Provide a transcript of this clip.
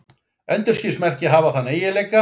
Endurskinsmerki hafa þennan eiginleika.